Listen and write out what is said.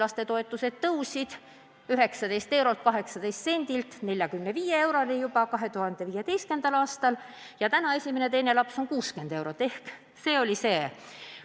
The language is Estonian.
Lapsetoetus tõusis 19 eurolt 18 sendilt 45 euroni juba 2015. aastal ja nüüd on nii, et kui peres on kaks last, siis on ühe lapse toetus 60 eurot.